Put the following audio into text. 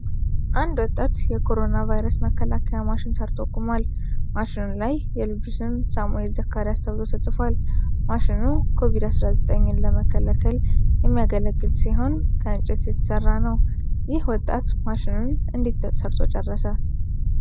አንድ ወጣት ልጅ የኮሮና ቫይረስ መከላከያ ማሽን ሠርቶ ቆሞአል። ማሽኑ ላይ የልጁ ስም ሳሙኤል ዘካሪያስ ተብሎ ተጽፏል። ማሽኑ ኮቪድ-19ን ለመከላከል የሚያገለግል ሲሆን ከእንጨት የተሠራ ነው። ይህ ወጣት ማሽኑን እንዴት ሠርቶ ጨረሰ?